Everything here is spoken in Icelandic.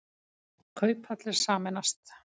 Kauphallir sameinast